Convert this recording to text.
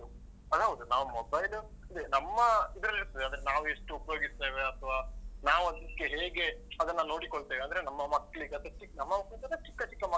ಅದ್ ಹೌದು. ನಾವ್ mobile ಅದೇ ನಮ್ಮ ಇದ್ರಲ್ಲಿರಿತ್ತದೆ ಅಂದ್ರೆ ನಾವ್ ಎಷ್ಟ್ ಉಪಯೋಗಿಸ್ತೆವೆ ಅತ್ವಾ, ನಾವ್ ಅದಕ್ಕೆ ಹೇಗೆ ಅದನ್ನ ನೋಡಿಕೊಳ್ತೇವೆ. ಅಂದ್ರೆ ನಮ್ಮ ಮಕ್ಕಳಿಗೆ ಅದಕ್ಕೆ ನಮ್ಮ ಮಕ್ಕಳಿಗಂದ್ರೆ ಚಿಕ್ಕ ಚಿಕ್ಕ